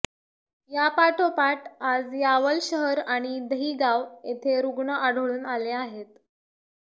या पाठोपाठ आज यावल शहर आणि दहिगाव येथे रूग्ण आढळून आले आहेत